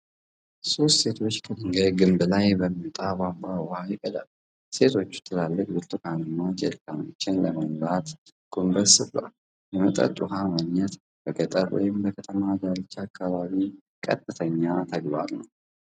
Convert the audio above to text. ሦስት ሴቶች ከድንጋይ ግንብ ላይ በሚወጣ ቧንቧ ውሃ ይቀዳሉ። ሴቶቹ ትላልቅ ብርቱካናማ ጀሪካኖችን ለመሙላት ጎንበስ ብለዋል። የመጠጥ ውሃ ማግኘት በገጠር ወይም በከተማ ዳርቻ አካባቢ ቀጥተኛ ተግባር ነው።